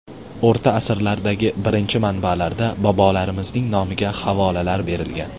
O‘rta asrlardagi birinchi manbalarda bobolarimizning nomiga havolalar berilgan.